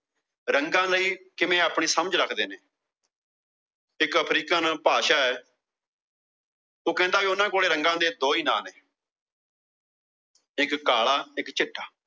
ਰੰਗਾਂ ਲਈ ਕਿਵੇਂ ਆਪਣੀ ਸਮਝ ਰੱਖਦੇ ਨੇ। ਇੱਕ ਅਫ਼ਰੀਕਨ ਭਾਸ਼ਾ ਉਹ ਕਹਿੰਦਾ ਉਨ੍ਹਾਂ ਕੋਲ ਰੰਗਾਂ ਦੇ ਦੋ ਈ ਨਾਂ ਨੇ ਇੱਕ ਕਾਲਾ ਇੱਕ ਚਿੱਟਾ